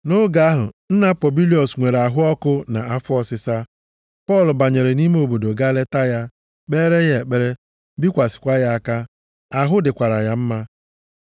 Nʼoge ahụ, nna Pobilios nwere ahụ ọkụ na afọ ọsịsa, Pọl banyere nʼime obodo gaa leta ya, kpeere ya ekpere, bikwasịkwa ya aka. Ahụ dịkwara ya mma.